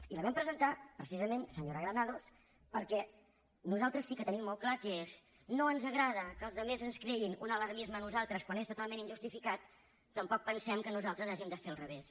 i la vam presentar precisament senyora granados perquè nosaltres sí que tenim molt clar que no ens agrada que els altres ens creïn un alarmisme a nosaltres quan és totalment injustificat tampoc pensem que nosaltres hàgim de fer al revés